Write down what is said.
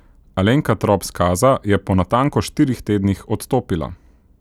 Alenka Trop Skaza je po natanko štirih tednih odstopila.